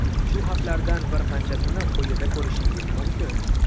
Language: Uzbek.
Shu xatlardan bir qanchasini quyida ko‘rishingiz mumkin.